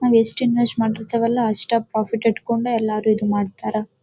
ನಾವ್ ಯೆಸ್ಟ್ ಇನ್ವೆಸ್ಟ್ ಮಾಡಿರ್ತೇವಲ್ಲ ಅಷ್ಟೇ ಪ್ರಾಫಿಟ್ ಇಟ್ಕೊಂಡು ಎಲ್ಲರೂ ಇದ್ ಮಾಡ್ತಾರಾ.